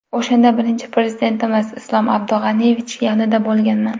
O‘shanda birinchi Prezidentimiz Islom Abdug‘aniyevichning yonida bo‘lganman.